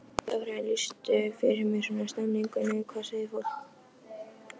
Þóra: En lýstu fyrir mér svona stemmingunni, hvað sagði fólk?